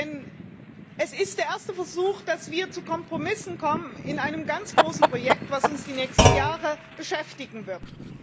Denn es ist der erste Versuch, dass wir zu Kompromissen kommen in einem ganz großen Projekt, das uns die nächsten Jahre beschäftigen wird.